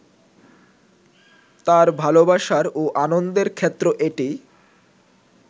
তাঁর ভালোবাসার ও আনন্দের ক্ষেত্র এটি